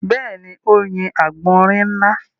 Bẹ́ẹ̀ni, ó yin àgbọ̀nrín ńlá.